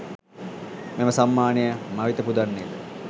මෙම සම්මානය මවෙත පුදන්නේද?